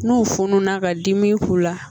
N'o fununa ka dimi k'u la